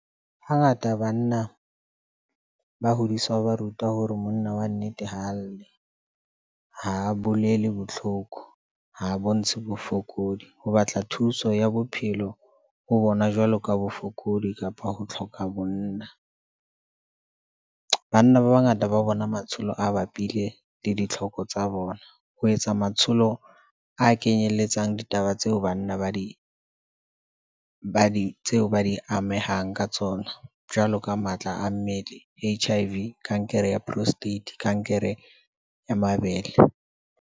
Hangata banna ba hodiswa ho ba ruta hore monna wa nnete ha a lle. Ha bolele botlhoko ha a bontshe bofokodi. Ho batla thuso ya bophelo ho bona jwalo ka bofokodi kapa ho tlhoka bonna. Banna ba bangata ba bona matsholo a bapile le ditlhoko tsa bona ho etsa matsholo a kenyeletsang ditaba tseo banna ba di, ba di tseo ba di amehang ka tsona. Jwalo ka matla a mmele, H_I_V, kankere ya prostate, kankere ya mabele.